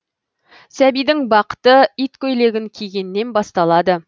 сәбидің бақыты иткөйлегін кигеннен басталады